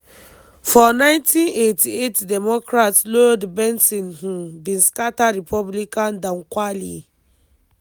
for 1988 democrat lloyd bentsen um bin scata republican dan quayle.